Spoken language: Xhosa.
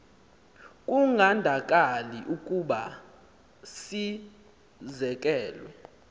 kungandakali ukuba sizekelwe